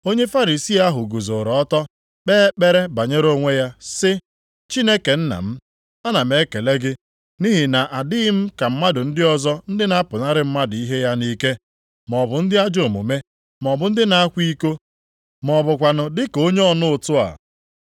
Onye Farisii ahụ guzoro ọtọ kpee ekpere banyere onwe ya sị, ‘Chineke nna m, ana m ekele gị nʼihi na adịghị m ka mmadụ ndị ọzọ ndị na-apụnara mmadụ ihe ya nʼike, maọbụ ndị ajọ omume, maọbụ ndị na-akwa iko, ma ọ bụkwanụ dị ka onye ọna ụtụ a.